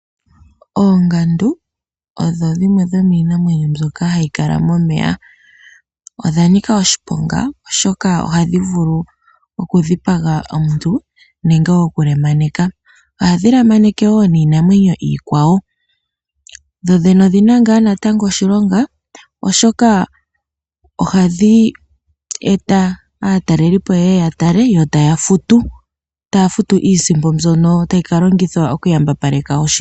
Oongandu odho dhimwe dhomiinamwenyo mbyoka hayi kala momeya. Odha nika oshiponga. Oshoka oha dhi vulu oku dhipaga omuntu nenge oku lemaneka. Oha dhi lemaneke wo niinamwenyo iikwawo. Dho dhene odhina ngaa wo oshilonga oshoka oha dhi eta aatalelipo yeye yatale yotaya futu. Taya futu iisimpo mbyono tayi ka longithwa oku yambapaleka oshilongo.